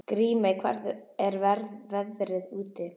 Grímey, hvernig er veðrið úti?